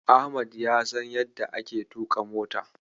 Ahmad ya san yadda ake tuƙa mota.